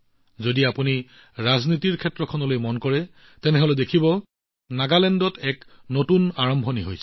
যদি আপুনি ৰাজনীতিলৈ লক্ষ্য কৰে নাগালেণ্ডত এক নতুন আৰম্ভণি হৈছে